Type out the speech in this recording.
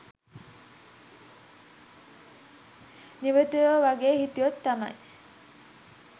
නිවටයෝ වගේ හිටියොත් තමයි